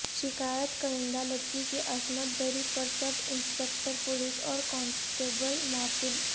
شکایت کنندہ لڑکی کی عصمت دری پر سب انسپکٹر پولیس اور کانسٹیبل معطل